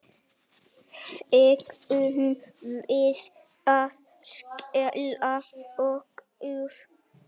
Eigum við að skella okkur?